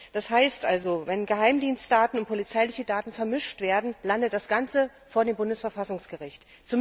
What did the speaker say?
Wenn also Geheimdienstdaten und polizeiliche Daten vermischt werden, landet das Ganze vor dem Bundesverfassungsgericht.